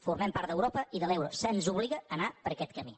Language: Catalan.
formem part d’europa i de l’euro se’ns obliga a anar per aquest camí